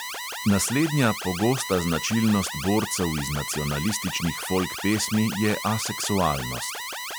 Naslednja pogosta značilnost borcev iz nacionalističnih folk pesmi je aseksualnost.